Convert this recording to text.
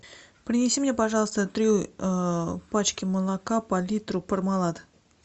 принеси мне пожалуйста три пачки молока по литру пармалат